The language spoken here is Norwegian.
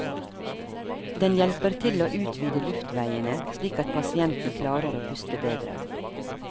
Den hjelper til å utvide luftveiene slik at pasienten klarer å puste bedre.